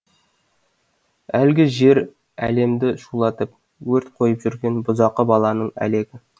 әлгі жер әлемді шулатып өрт қойып жүрген бұзақы балаңның әлегі